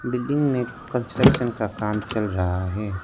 Building में construction का काम चल रहा है।